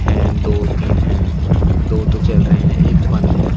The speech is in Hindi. हेन दो तीन हैं दो तो चल रहे हैं एक बंद है।